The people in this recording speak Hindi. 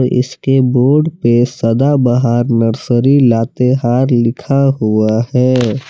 इसके बोर्ड पे सदाबहार नर्सरी लातेहार लिखा हुआ है।